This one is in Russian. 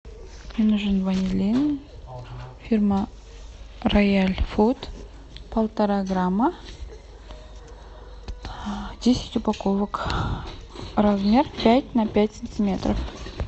мне нужен ванилин фирма рояль фуд полтора грамма десять упаковок размер пять на пять сантиметров